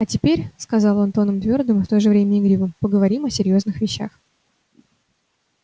а теперь сказал он тоном твёрдым и в то же время игривым поговорим о серьёзных вещах